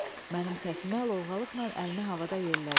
Mənim səsimə lovğalıqla əlini havada yellədi.